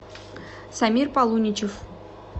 самир полуничев